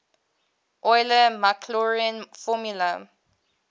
euler maclaurin formula